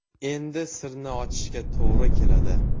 Endi sirni ochishga to‘g‘ri keladi.